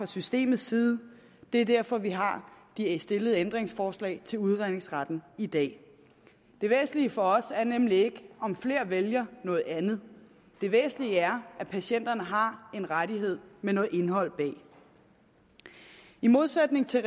systemets side det er derfor vi har stillet ændringsforslag til udredningsretten i dag det væsentlige for os er nemlig ikke om flere vælger noget andet det væsentlige er at patienterne har en rettighed med noget indhold i i modsætning til